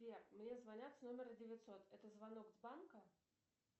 сбер мне звонят с номера девятьсот это звонок с банка